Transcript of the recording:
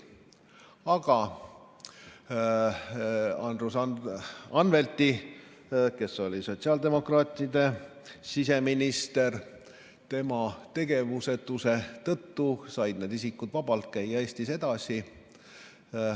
Aga Andres Anvelti, toonase sotsiaaldemokraatide siseministri tegevusetuse tõttu said need isikud vabalt käia Eestis edasi.